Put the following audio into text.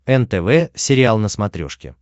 нтв сериал на смотрешке